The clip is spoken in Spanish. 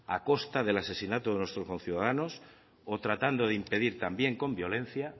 a costa del asesinato de nuestros conciudadanos o tratando de impedir también con violencia